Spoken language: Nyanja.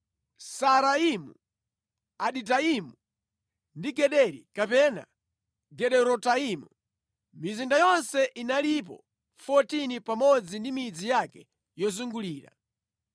Saaraimu, Aditaimu, ndi Gederi (kapena Gederotaimu). Mizinda yonse inalipo 14 pamodzi ndi midzi yake yozungulira.